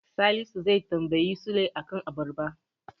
Salisu zai tambayi Sule a kan abarba.